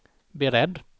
beredd